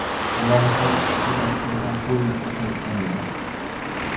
Ularning har ikkisi Rossiyadan poyezdda qaytgan edi.